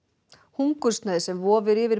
hungursneyð sem vofir yfir